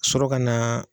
Ka sɔrɔ ka na